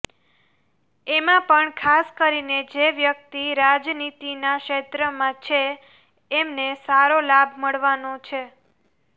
એમાં પણ ખાસ કરીને જે વ્યક્તિ રાજનીતિના ક્ષેત્રમાં છે એમને સારો લાભ મળવાનો છે